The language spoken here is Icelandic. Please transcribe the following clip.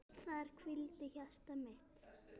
Þar hvílir hjarta mitt.